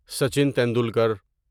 Sachin Tendulkar